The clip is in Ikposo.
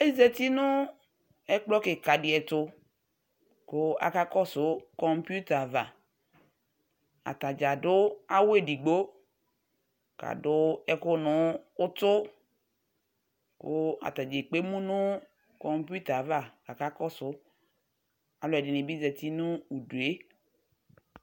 Ezati nu ɛkplɔ kika di tu ku akakɔsu kɔpuita di ava atadza adu awu edigbo ku adu ɛkuɛ nu utu ku atani ekpe emu nu kɔpuita ava kakɔsu aluɛdini ɛdini bi zati nu udu